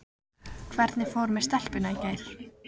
Hvernig fór með stelpuna í gær?